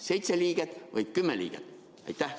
Seitse liiget või kümme liiget?